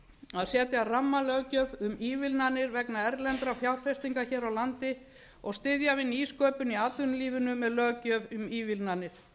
að setja rammalöggjöf um ívilnanir vegna erlendrar fjárfestingar hér á landi og styðja við nýsköpun í atvinnulífinu með löggjöf um ívilnanir